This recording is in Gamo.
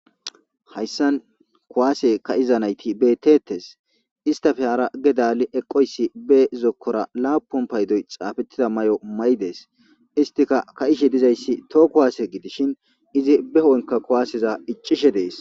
hayssan kuwaase ka7iza nayti betetes istafe hara ge daali eqqoyssi be zokkora laapun paydoy xaafettida may7o may7dees istika ka7ishe dizayssi too kuwaase gidishin izi behooynka kuwaaseza iccishe dees